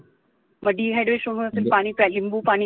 dehydration होत असेल तर पाणी प्या, लिंबू पाणी